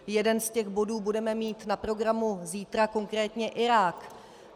Jeden z těch bodů budeme mít na programu zítra, konkrétně Irák.